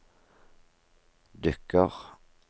dukker